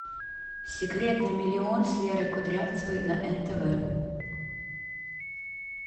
секрет на миллион с лерой кудрявцевой на нтв